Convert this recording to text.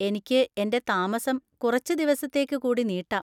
എനിക്ക് എന്‍റെ താമസം കുറച്ച് ദിവസത്തേക്ക് കൂടി നീട്ടാം.